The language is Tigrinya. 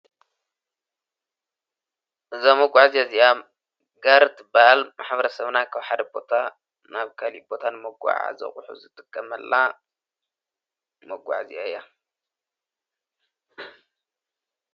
እዛ መጕዕእዙ እዚኣ ገርድ ባል ሓብረ ሰብና ኽውሓደ ቦታ ናብ ካሊቦታን መጕዓ ዘቝሑ ዘትቀመላ መጕእዚኣያ እዩ።